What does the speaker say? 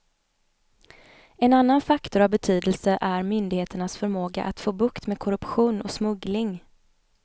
En annan faktor av betydelse är myndigheternas förmåga att få bukt med korruption och smuggling.